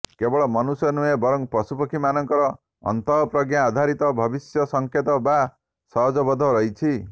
କେବଳ ମନୁଷ୍ୟ ନୁହେଁ ବରଂ ପଶୁପକ୍ଷୀମାନଙ୍କର ଅନ୍ତଃପ୍ରଜ୍ଞା ଆଧାରିତ ଭବିଷ୍ୟ ସଂକେତ ବା ସହଜବୋଧ ରହିଛି